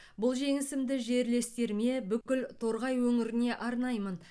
бұл жеңісімді жерлестеріме бүкіл торғай өңіріне арнаймын